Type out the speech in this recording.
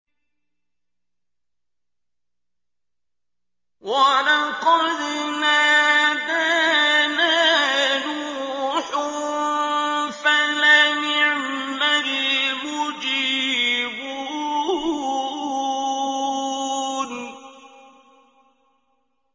وَلَقَدْ نَادَانَا نُوحٌ فَلَنِعْمَ الْمُجِيبُونَ